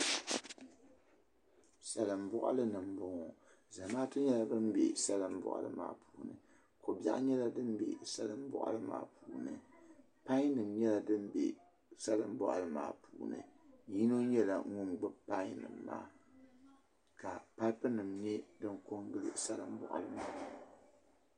Salin bɔɣili ni mbɔŋɔ zamatu nyɛla ban bɛ salin bɔɣili maa puuni ka bɛɣu nyɛla dimbɛ salin bɔɣili maa puuni pain nim nyɛla dimbɛ salin bɔɣili maa puuni yino nyɛla ŋun gbubi pain nim maa ka papu nim nyɛ din ko n gilo salin bɔɣili maa puuni.